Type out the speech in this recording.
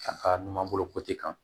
A ka numan bolo kan